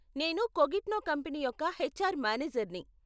నేను కోగ్నిట్నో కంపెనీ యొక్క హెచ్ఆర్ మానేజర్ని.